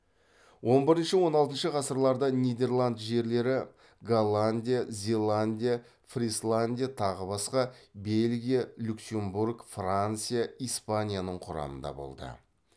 он бірінші он алтыншы ғасырларда нидерланд жерлері голландия зеландия фрисландия тағы басқа бельгия люксембург франция испанияның құрамында болды